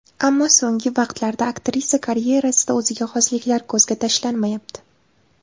Ammo so‘nggi vaqtlarda, aktrisa karyerasida o‘ziga xosliklar ko‘zga tashlanmayapti.